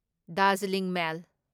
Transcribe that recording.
Darjeeling ꯃꯦꯜ